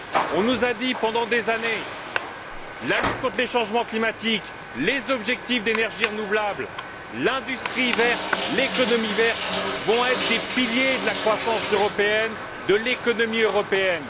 On nous a dit, pendant des années, que la lutte contre les changements climatiques, les objectifs d'énergie renouvelable, l'industrie verte, l'économie verte, seraient des piliers de la croissance européenne, de l'économie européenne.